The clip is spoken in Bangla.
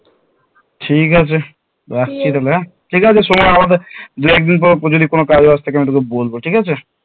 ঠিক আছে রাখছি তাহলে হ্যাঁ ঠিক আছে সময় দু একদিন পর যদি কোনো কাজ বাজ থাকে আমি তোকে বলবো ঠিক আছে